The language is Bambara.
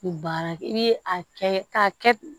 Ni baara kɛ i bi a kɛ k'a kɛ